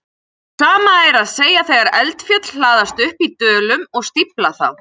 Sama er að segja þegar eldfjöll hlaðast upp í dölum og stífla þá.